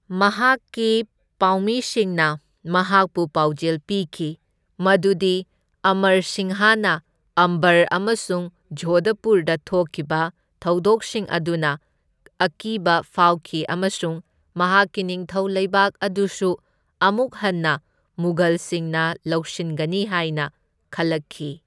ꯃꯍꯥꯛꯀꯤ ꯄꯥꯎꯃꯤꯁꯤꯡꯅ ꯃꯍꯥꯛꯄꯨ ꯄꯥꯎꯖꯦꯜ ꯄꯤꯈꯤ, ꯃꯗꯨꯗꯤ ꯑꯃꯔ ꯁꯤꯡꯍꯅ ꯑꯝꯕꯔ ꯑꯃꯁꯨꯡ ꯖꯣꯙꯄꯨꯔꯗ ꯊꯣꯛꯈꯤꯕ ꯊꯧꯗꯣꯛꯁꯤꯡ ꯑꯗꯨꯅ ꯑꯀꯤꯕ ꯐꯥꯎꯈꯤ ꯑꯃꯁꯨꯡ ꯃꯍꯥꯛꯀꯤ ꯅꯤꯡꯊꯧ ꯂꯩꯕꯥꯛ ꯑꯗꯨꯁꯨ ꯑꯃꯨꯛ ꯍꯟꯅ ꯃꯨꯘꯜꯁꯤꯡꯅ ꯂꯧꯁꯤꯟꯒꯅꯤ ꯍꯥꯏꯅ ꯈꯜꯂꯛꯈꯤ꯫